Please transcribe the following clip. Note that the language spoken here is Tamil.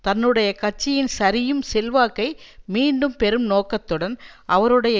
தன்னுடைய கட்சியின் சரியும் செல்வாக்கை மீண்டும் பெறும் நோக்கத்துடன் அவருடைய